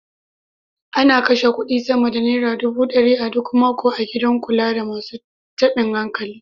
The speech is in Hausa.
Ana kashe kuɗi sama da naira dubu ɗari a duk mako a gidan kula da masu taɓin hankali.